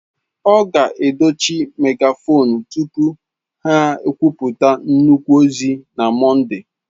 A ga-edochi megafonu tupu ha ekwupụta nnukwu ozi na Mọnde.